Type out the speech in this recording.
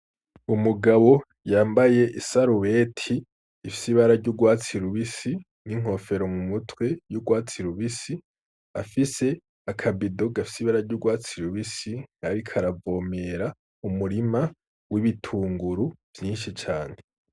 Umugabo yambaye isarubete ifise ibara ry'urwatsi rubisi n'inkofero mu mutwe y'urwatsi rubisi, afise aka bido gafise ibara ry'urwatsi rubisi, ariko aravomera umurima w'itunguru vyinshi cane.